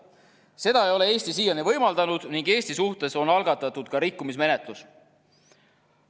Seda ei ole Eesti siiani võimaldanud ning Eesti suhtes on algatatud ka rikkumismenetlus.